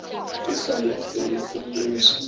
ke sona selo se nnoši